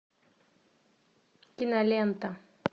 кинолента